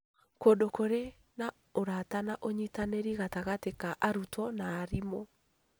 Kũndũ kũrĩ na ũrata na ũnyitanĩri gatagatĩ ka arutwo na arimũ